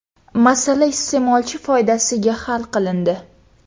Masala iste’molchi foydasiga hal qilindi.